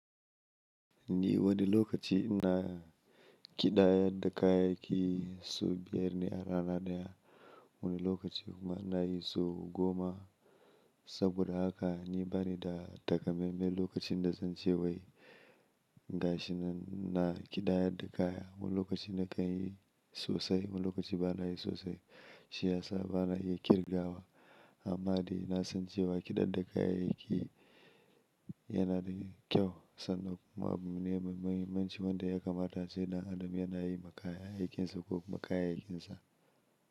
Ni wani lokaci ina ƙidaya da kaya ki su biyar ne a rana daya, wani lokaci kuma ina yi su goma. Saboda haka ni bane da takamaime lokacin da zan ce wai gashi na, ina ƙidaya da kaya. Wani lokaci na kanyi sosai, wani lokaci bana yi sosai, shi ya sa bana iya ƙirgawa. Amma dai na san cewa ƙidar da kaya yake yana da kyau. Sannan kuma abu ne mai muhimmanci wanda ya kamata sai da adam yana yi makaya aikinsa ko makaya aikinsa.